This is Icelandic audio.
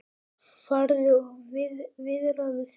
Farðu og viðraðu þig